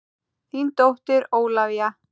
Þín dóttir Ólafía.